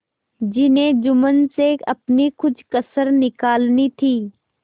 जिन्हें जुम्मन से अपनी कुछ कसर निकालनी थी